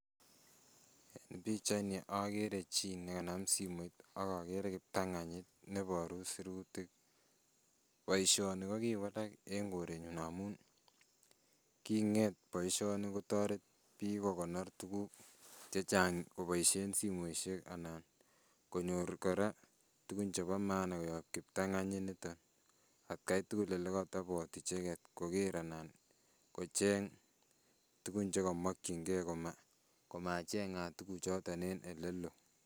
Pichaini okere chii nekanam simoit okokere kiptong'onyit neboru surutik, boishoni ko kiwalak en korenyun amun king'et boishoni kotoret biik kokonor tukuk chechang koboishen simoishek anan konyor kora tukun chebo maana koyob kiptong'onyi niton atkai tukul olekotobot icheket koker alan kocheng tukun chekomokying'e komacheng'at tukuchoton en elelo.